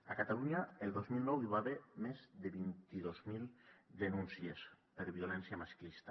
a catalunya el dos mil nou hi va haver més de vint dos mil denúncies per violència masclista